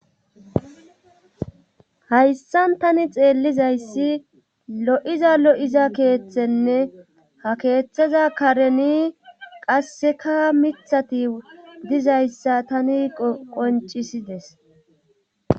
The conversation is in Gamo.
hayssan tani xeellizayssi lo'iza lo'iza keeththenne ha keeththeza kareni qasseka mithththati dizayssa tani qoncisides.